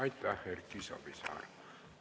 Aitäh, Erki Savisaar!